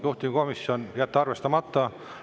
Juhtivkomisjon: jätta arvestamata.